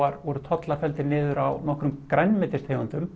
voru tollar felldir niður á nokkrum grænmetistegundum